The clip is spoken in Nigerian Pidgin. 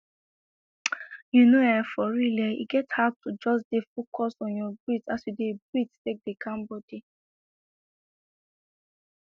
you know[um]for real eh e get how to just dey focus on your breath as you dey breathe take dey calm body